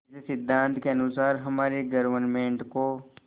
इस सिद्धांत के अनुसार हमारी गवर्नमेंट को